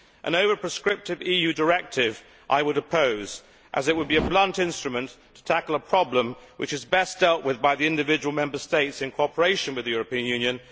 An over prescriptive EU directive I would oppose, as it would be a blunt instrument to tackle a problem which is best dealt with by the individual Member States in cooperation with the European Union.